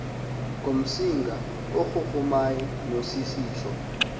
ngumsinga ogugumay nosisitshu